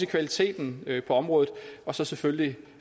kvaliteten på området og så selvfølgelig